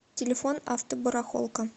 телефон автобарахолка